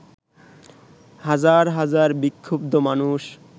হাজার হাজার বিক্ষুব্ধ মানুষ